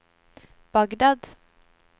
Bagdad